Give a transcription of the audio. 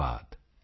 ਧੰਨਵਾਦ